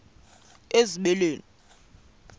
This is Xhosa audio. ezibeleni